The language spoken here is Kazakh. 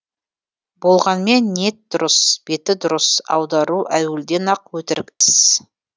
болғанмен ниет дұрыс беті дұрыс аудару әуелден ақ өтірік іс